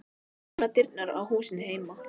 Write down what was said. Ég opna dyrnar á húsinu heima.